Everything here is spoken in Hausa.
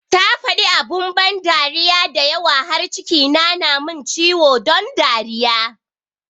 Ta faɗi abun ban dariya da yawa har cikina na mun ciwo don dariya